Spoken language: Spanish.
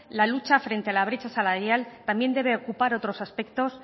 la lucha contra la brecha salarial también debe ocupar otros aspectos